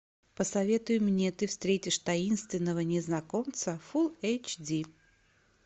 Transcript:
посоветуй мне ты встретишь таинственного незнакомца фул эйч ди